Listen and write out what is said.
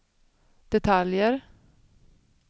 detaljer